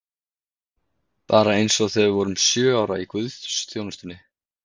Bara eins og þegar við vorum sjö ára í guðsþjónustunni!